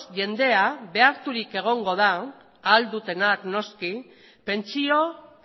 jendea beharturik egongo da ahal dutenak noski pentsio